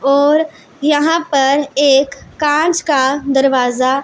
और यहां पर एक कांच का दरवाजा--